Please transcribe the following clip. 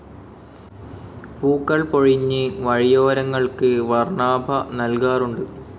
പൂക്കൾ പൊഴിഞ്ഞ് വഴിയോരങ്ങൾക്ക് വർണാഭ നൽകാറുണ്ട്.